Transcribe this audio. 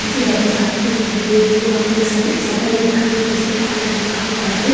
नीचे जमीन साफ सुथरी दिखाई दे रही है वहां पे एक शे शटर भी दिखाई दे रहा है जिसपे ताला डला हुआ है।